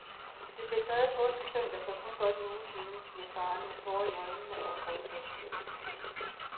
Det blev taget påskesøndag for kun godt en uge siden, siger faderen med tårer i øjnene og en grådkvalt stemme.